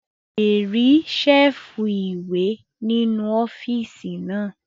A lè rí Ṣẹ́ẹ̀fù ìwé nínú ọ́fíìsì náà